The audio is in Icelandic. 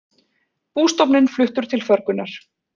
Bústofninn fluttur til förgunar